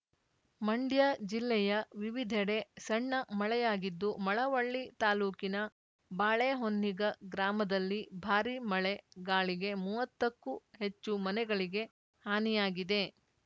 ಮಂಡ್ಯ ಜಿಲ್ಲೆಯ ವಿವಿಧೆಡೆ ಸಣ್ಣ ಮಳೆಯಾಗಿದ್ದು ಮಳವಳ್ಳಿ ತಾಲೂಕಿನ ಬಾಳೆಹೊನ್ನಿಗ ಗ್ರಾಮದಲ್ಲಿ ಭಾರಿ ಮಳೆ ಗಾಳಿಗೆ ಮುವತ್ತಕ್ಕೂ ಹೆಚ್ಚು ಮನೆಗಳಿಗೆ ಹಾನಿಯಾಗಿದೆ